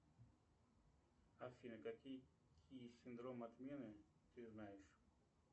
афина какие синдромы отмены ты знаешь